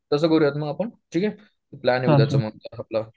तसं करू यात आपण ठीक हे प्लॅन उद्या च मग आपलं